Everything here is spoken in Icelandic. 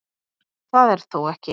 Það er þó ekki